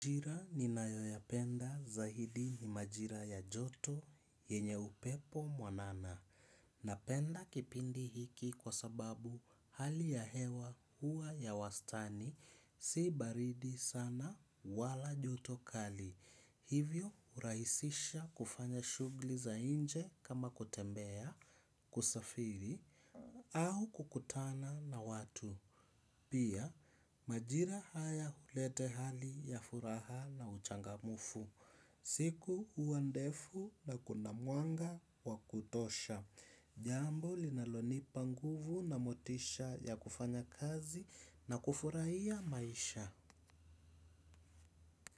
Majira ninayo yapenda zaidi ni majira ya joto yenye upepo mwanana. Na penda kipindi hiki kwa sababu hali ya hewa hua ya wastani si baridi sana wala joto kali. Hivyo urahisisha kufanya shughuli za nje kama kutembea kusafiri au kukutana na watu. Pia majira haya hulete hali ya furaha na uchangamfu. Siku huwa ndefu na kuna mwanga wa kutosha. Jambo linalonipa nguvu na motisha ya kufanya kazi na kufurahia maisha.